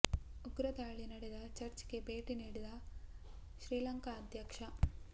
ಉಗ್ರ ದಾಳಿ ನಡೆದ ಚರ್ಚ್ ಗೆ ಭೇಟಿ ನೀಡಿದ್ದ ಶ್ರೀಲಂಕಾ ಅಧ್ಯಕ್ಷ